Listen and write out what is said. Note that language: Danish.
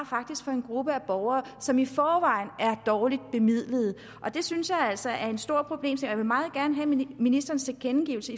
fra en gruppe af borgere som i forvejen er dårligt bemidlet det synes jeg altså er en stor problemstilling vil meget gerne have ministerens tilkendegivelse